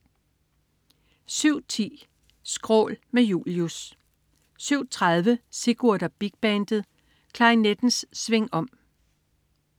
07.10 Skrål. Med Julius 07.30 Sigurd og Big Bandet. Klarinettens swingom